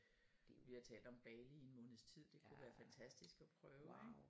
Vi har talt om Bali i en måneds tid det kunne være fantastisk og prøve ik